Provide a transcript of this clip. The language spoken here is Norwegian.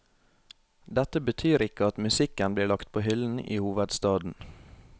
Dette betyr ikke at musikken blir lagt på hyllen i hovedstaden.